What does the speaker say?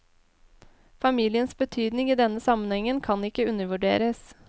Familiens betydning i denne sammenhengen kan ikke undervurderes.